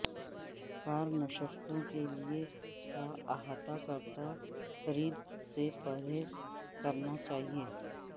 کار نشستوں کے لئے کا احاطہ کرتا خرید سے پرہیز کرنا چاہیے